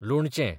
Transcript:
लोणचें